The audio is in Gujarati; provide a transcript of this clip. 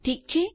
ઠીક છે